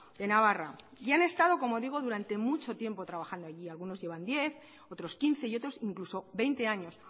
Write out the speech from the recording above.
de navarra y han estado como digo durante mucho tiempo trabajando allí algunos llevan diez otros quince y otros incluso veinte años